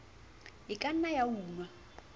e ka nnang ya unwa